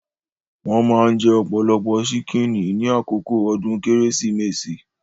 Wón maa ń jẹ ọ̀pọ̀lọpọ̀ ṣíkìnnì ní àkókò ọdún Kérésìmesì